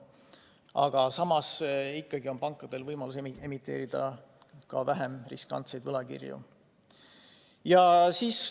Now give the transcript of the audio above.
Aga samas on pankadel võimalus emiteerida ka vähem riskantseid võlakirju.